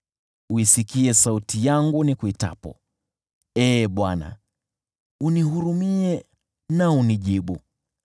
Isikie sauti yangu nikuitapo, Ee Bwana , unihurumie na unijibu.